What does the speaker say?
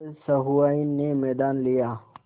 अब सहुआइन ने मैदान लिया